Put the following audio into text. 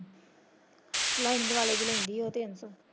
Lining ਵਾਲੇ ਦੀ ਲੈਂਦੀ ਉਹ ਤਿੰਨ ਸੋ।